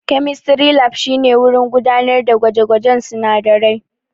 Chemistry Lab shine wurin gudanar da gwaje-gwajen sunadarai.